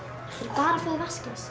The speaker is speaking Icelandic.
bara vatnsglas